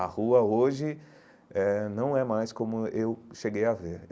A rua hoje eh não é mais como eu cheguei a ver.